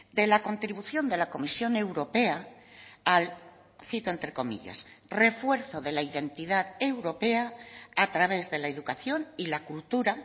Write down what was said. de la contribución de la comisión europea al cito entre comillas refuerzo de la identidad europea a través de la educación y la cultura